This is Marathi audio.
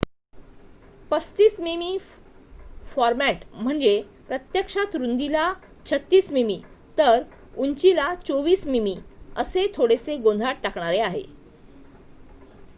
३५ मिमी फॉरमॅट म्हणजे प्रत्यक्षात रुंदीला ३६ मिमी तर उंचीला २४ मिमी असे थोडेसे गोंधळात टाकणारे आहे